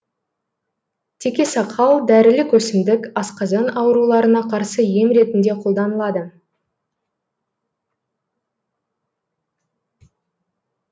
текесақал дәрілік өсімдік асқазан ауруларына қарсы ем ретінде қолданылады